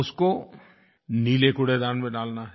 उसको नीले कूड़ेदान में डालना है